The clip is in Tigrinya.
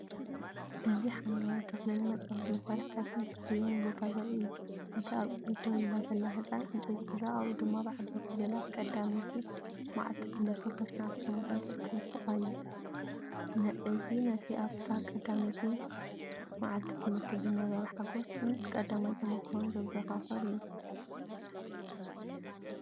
እዚ ሓምለዋይ ተኽልን መጻወቲ መሳርሒታትን ዝተሰየመ ቦታ ዘርኢ እዩ። እቲ ኣብ ቅድሚት ደው ኢላ ዘላ ህጻን፡ዕንጨይቲ ሒዛ ኣብኡ ድማ ብዓበይቲ ፊደላት"ቀዳመይቲ መዓልቲ ትምህርቲ 2017"ተጻሒፉ ኣሎ። እዚ ነቲ ኣብታ ቀዳመይቲ መዓልቲ ትምህርቲ ዝነበረ ሓጐስን ቀዳማይ ተመክሮን ዘዘኻኽር እዩ።